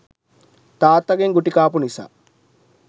තාත්තාගෙන් ගුටි කාපු නිසා